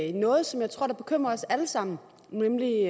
i noget som jeg tror bekymrer os alle sammen nemlig det